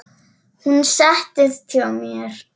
Hún settist hjá mér.